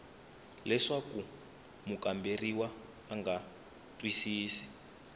leswaku mukamberiwa a nga twisisi